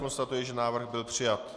Konstatuji, že návrh byl přijat.